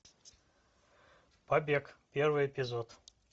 побег первый эпизод